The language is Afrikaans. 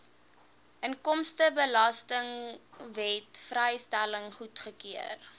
inkomstebelastingwet vrystelling goedgekeur